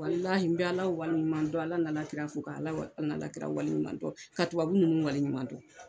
Walahi n bɛ Ala waliɲuman dɔn Ala n'a alakira fo ka Ala wa Ala n'a kira waliɲuman dɔn ka tubabu ninnu waliɲuman dɔn.